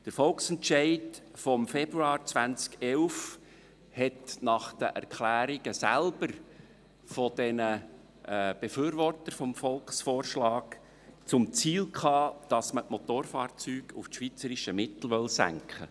Der Volksentscheid vom Februar 2011 hatte nach den Erklärungen der Befürworter des Volksvorschlags selbst zum Ziel, die Motorfahrzeugsteuer auf das schweizerische Mittel zu senken.